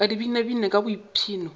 ka di binabine ka boipshino